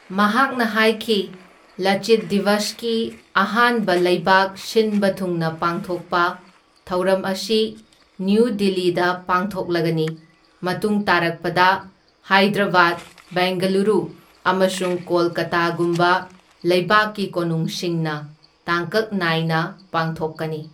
ꯃꯍꯥꯛꯅ ꯍꯥꯏꯈꯤ, ꯂꯥꯆꯤꯠ ꯗꯤꯚꯁ ꯀꯤ ꯑꯍꯥꯟꯕ ꯂꯩꯕꯥꯛ ꯁꯤꯅꯕ ꯊꯨꯡꯅ ꯄꯥꯡꯊꯣꯛꯄ ꯊꯧꯔꯝ ꯑꯁꯤ ꯅ꯭ꯌꯨ ꯗꯤꯜꯂꯤꯗ ꯄꯥꯡꯊꯣꯛꯂꯒꯅꯤ, ꯃꯇꯨꯡ ꯇꯥꯔꯛꯄꯗ ꯍꯥꯏꯗꯔꯕꯥꯗ, ꯕꯦꯡꯒꯂꯨꯔꯨ ꯑꯃꯁꯨꯡ ꯀꯣꯜꯀꯥꯇꯥꯒꯨꯝꯕ ꯂꯩꯕꯥꯛꯀꯤ ꯀꯣꯅꯨꯡꯁꯤꯡꯅ ꯇꯥꯡꯀꯛ ꯅꯥꯏꯅ ꯄꯥꯡꯊꯣꯛꯀꯅꯤ꯫